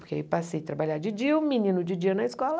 Porque aí passei a trabalhar de dia, o menino de dia na escola.